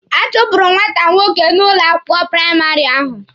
A chụpụrụ nwata nwoke ahụ n'ụlọ akwụkwọ praịmarị ahụ.